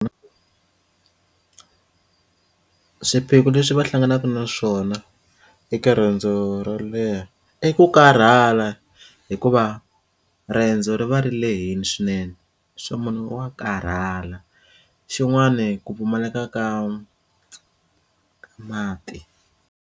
Swiphiqo leswi va hlanganaka na swona eka riendzo ro leha i ku karhala hikuva riendzo ri va ri lehini swinene se munhu wa karhala xin'wani ku pfumaleka ka mati.